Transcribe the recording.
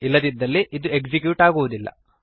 ಇಲ್ಲದಿದ್ದರೆ ಇದು ಎಕ್ಸಿಕ್ಯೂಟ್ ಆಗುವುದಿಲ್ಲ